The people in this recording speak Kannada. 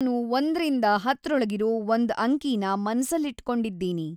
ನಾನು ಒಂದ್ರಿಂದ ಹತ್ತ್ರೊಳಗಿರೋ ಒಂದ್‌ ಅಂಕೀನಾ ಮನಸ್ಸಲ್ಲಿಟ್ಕೊಂಡಿದೀನಿ